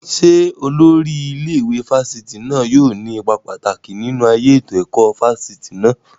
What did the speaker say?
Ṣé olórí ilé ìwé fáfitì náà yóò ní ipa pàtàkì nínú ayé ètò ẹ̀kọ́ fáfitì náà?